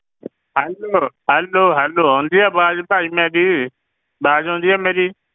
Hello hello hello ਆਉਂਦੀ ਹੈ ਆਵਾਜ਼ ਭਾਈ ਮੇਰੀ, ਆਵਾਜ਼ ਆਉਂਦੀ ਹੈ ਮੇਰੀ?